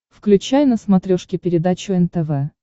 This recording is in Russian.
включай на смотрешке передачу нтв